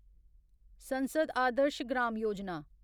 संसद आदर्श ग्राम योजना